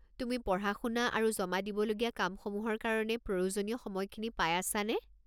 তুমি পঢ়া-শুনা আৰু জমা দিবলগীয়া কামসমূহৰ কাৰণে প্ৰয়োজনীয় সময়খিনি পাই আছা নে?